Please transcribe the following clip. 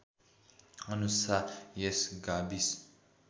अनुसार यस गाविस